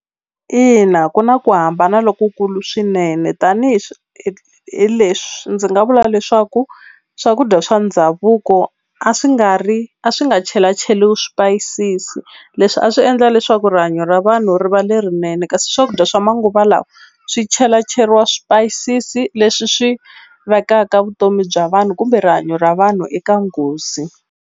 Ina ku na ku hambana lokukulu swinene tanihileswi ndzi nga vula leswaku swakudya swa ndhavuko a swi nga ri a swi nga chelacheriwi swipayisisi leswi a swi endla leswaku rihanyo ra vanhu ri va lerinene kasi swakudya swa manguva lawa swi chelacheriwa swipayisisi leswi swi vekaka vutomi bya vanhu kumbe rihanyo ra vanhu eka nghozi.